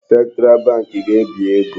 Central Bank ga-ebi ego.